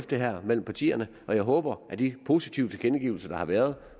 det her mellem partierne og jeg håber at de positive tilkendegivelser der har været